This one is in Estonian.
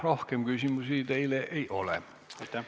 Rohkem küsimusi teile ei ole.